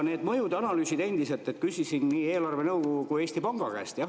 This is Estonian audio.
Nende mõjude analüüside kohta ma küsisin nii eelarvenõukogu kui ka Eesti Panga käest.